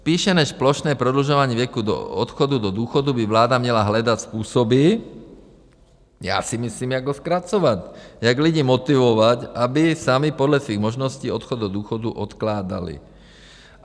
Spíše než plošné prodlužování věku odchodu do důchodu by vláda měla hledat způsoby, já si myslím, jak ho zkracovat, jak lidi motivovat, aby sami podle svých možností odchod do důchodu odkládali.